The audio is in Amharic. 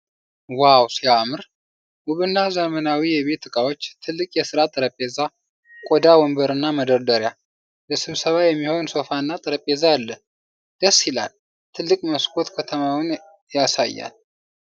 ዋው ሲያምር! ውብና ዘመናዊ የቢሮ እቃዎች። ትልቅ የስራ ጠረጴዛ፣ ቆዳ ወንበርና መደርደሪያ። ለስብሰባ የሚሆን ሶፋና ጠረጴዛ አለ። ደስ ይላል! ትልቅ መስኮት ከተማውን ያሳያል።